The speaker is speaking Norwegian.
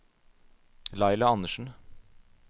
Laila Anderssen